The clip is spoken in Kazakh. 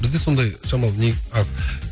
бізде сондай шамалы не аз